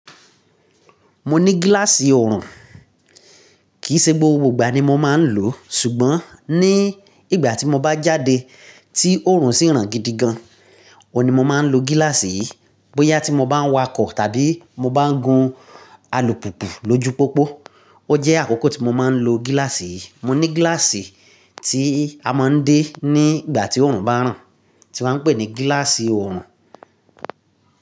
Mo ní gíláàsì ọrùn, kì í ṣe gbogbo ìgbà ni mo máa ń lò ó, ṣùgbọ́n ní ìgbà tí mo bá jáde tí òórùn sì ràn gidi gan, òun ni mo máa ń lo gíláàsì yìí. Bóyá tí mo bá ń wakọ̀ tàbí mo bá ń gun alùpùpù lójú pópó, ó jẹ́ àkókò tí mo máa ń lo gíláàsì yìí. Mo ní gíláàsì tí a máa ń dé ní ìgbà tí òórùn bá ràn, tí wọ́n ń pè ní gíláàsì orùn.